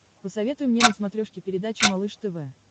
посоветуй мне на смотрешке передачу малыш тв